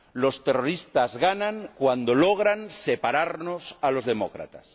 Los terroristas ganan cuando logran separarnos a los demócratas.